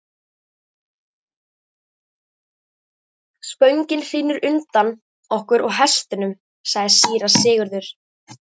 Spöngin hrynur undan okkur og hestunum, sagði síra Sigurður.